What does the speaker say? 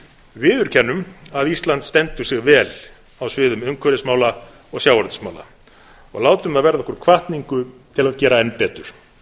viðurkennum að ísland stendur sig vel á sviðum umhverfismála og sjávarútvegsmála og látum það verða okkur hvatningu til að gera enn betur